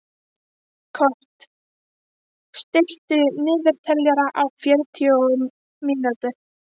Kort (mannsnafn), stilltu niðurteljara á fjörutíu mínútur.